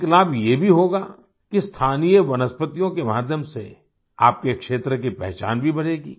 एक लाभ ये भी होगा कि स्थानीय वनस्पतियों के माध्यम से आपके क्षेत्र की पहचान भी बढ़ेगी